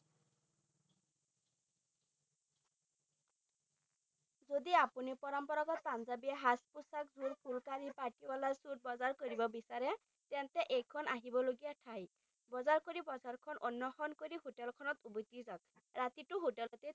যদি আপুনি পৰম্পৰাগৰ পাঞ্জাবী সাজ পোছাকবোৰ ফুলকাৰী পাইকিবলা্ৰ স্যুট বজাৰ কৰিব বিচাৰে তেন্তে এইখন আহিবলগীয়া ঠাই বজাৰ কৰি বজাৰখন অন্নসন কৰি হোটেলখনত উভতি যাওক ৰাতিটো হোটেলে থাকক